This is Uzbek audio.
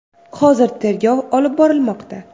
Hozir tergov olib borilmoqda.